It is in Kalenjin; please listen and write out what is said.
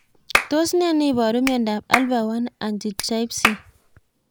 Tos ne neiparu miondop Alpha 1 antitrypsin